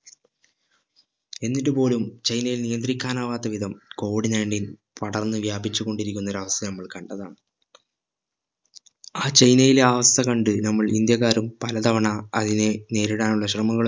എന്നിട്ടു പോലും ചൈനയിൽ നിയന്ത്രിക്കാൻ ആവാത്ത വിധം COVID-19 പടർന്ന് വ്യാപിച്ചു കൊണ്ടിരിക്കുന്ന ഒരവസ്ഥ നമ്മൾ കണ്ടതാണ് ആ ചൈനയിലെ ആ അവസ്ഥ കണ്ട് നമ്മൾ ഇന്ത്യക്കാരും പലതവണ അതിനെ നേരിടാനുള്ള ശ്രമങ്ങളും